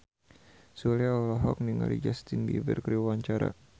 Sule olohok ningali Justin Beiber keur diwawancara